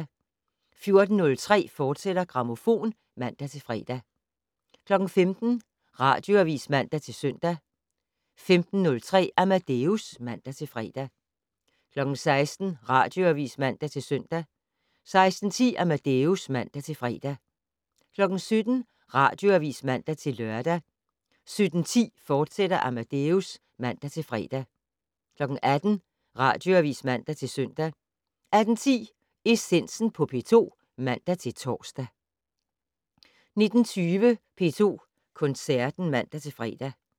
14:03: Grammofon, fortsat (man-fre) 15:00: Radioavis (man-søn) 15:03: Amadeus (man-fre) 16:00: Radioavis (man-søn) 16:10: Amadeus (man-fre) 17:00: Radioavis (man-lør) 17:10: Amadeus, fortsat (man-fre) 18:00: Radioavis (man-søn) 18:10: Essensen på P2 (man-tor) 19:20: P2 Koncerten (man-fre)